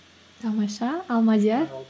тамаша ал мадиар